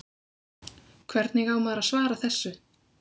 Hvernig á maður að svara þessu?